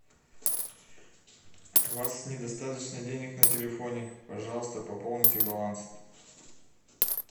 у вас недостаточно денег на телефоне пожалуйста пополните баланс